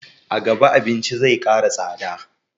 A gaba abinci zai kara tsada